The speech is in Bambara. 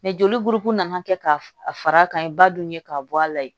joli buruku nana kɛ k'a fara ka ye ba dun ye k'a bɔ a la ye